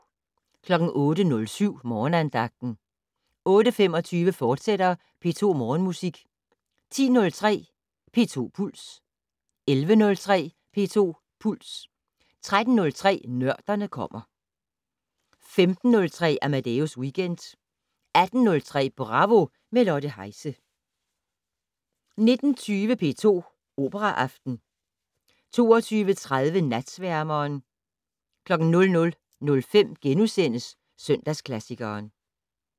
08:07: Morgenandagten 08:25: P2 Morgenmusik, fortsat 10:03: P2 Puls 11:03: P2 Puls 13:03: Nørderne kommer 15:03: Amadeus Weekend 18:03: Bravo - med Lotte Heise 19:20: P2 Operaaften 22:30: Natsværmeren 00:05: Søndagsklassikeren *